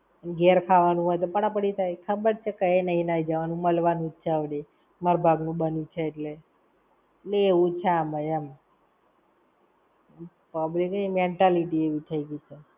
ઘેર ખાવા નું હોય તો પડા પડી થાય. ખબર જ છે કઈ નહિ નહીં જવાનું. મળવાનું છે અવળે, મારા ભાગ નું બન્યું છે એટલે. લ એવું જ છે આમાંય એમ. Public ની mentality એવી થઇ ગઈ છે.